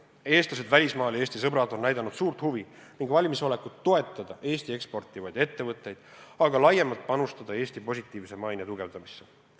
Eestlased välismaal ja Eesti sõbrad on näidanud suurt huvi ning valmisolekut toetada Eesti eksportivaid ettevõtteid, aga ka laiemalt panustada Eesti positiivse maine tugevdamisse.